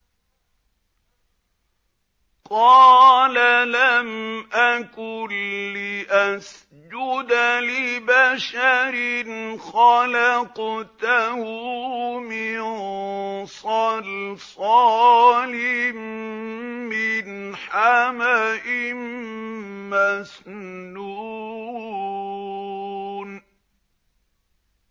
قَالَ لَمْ أَكُن لِّأَسْجُدَ لِبَشَرٍ خَلَقْتَهُ مِن صَلْصَالٍ مِّنْ حَمَإٍ مَّسْنُونٍ